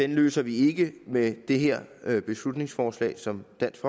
løser vi ikke med det her beslutningsforslag som dansk